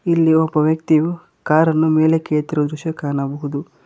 ಇಲ್ಲಿ ಒಬ್ಬ ವ್ಯಕ್ತಿಯು ಕಾರನ್ನು ಮೇಲೆಕ್ಕೆ ಎತ್ತಿರುವುದು ದೃಶ್ಯ ಕಾಣಬಹುದು.